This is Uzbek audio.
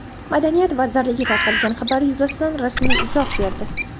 Madaniyat vazirligi tarqalgan xabar yuzasidan rasmiy izoh berdi .